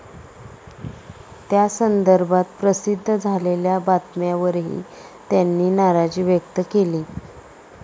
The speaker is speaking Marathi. त्यासंदर्भात प्रसिध्द झालेल्या बातम्यावरही त्यांनी नाराजी व्यक्त केली.